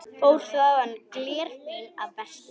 Fór þaðan glerfín að versla.